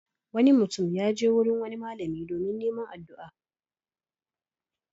Wani mutum ya je wurin wani malami domin neman addu'a.